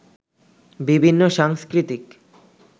বিভিন্ন সাংস্কৃতিক